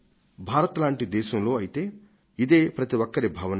భారతదేశం వంటి దేశంలో అయితే ఇదే ప్రతి ఒక్కరి భావన